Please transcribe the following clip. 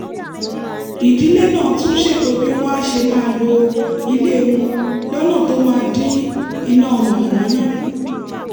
ìdílé náà tún ṣètò bí wọ́n á ṣe máa lo ilé wọn lọ́nà tó máa dín iná mànàmáná kù